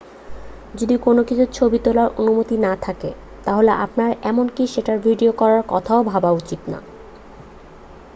যদি কোন কিছুর ছবি তোলার অনুমতি না থাকে তাহলে আপনার এমনকি সেটার ভিডিও করার কথা ভাবাও উচিত না